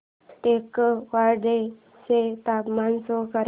टेकवाडे चे तापमान शो कर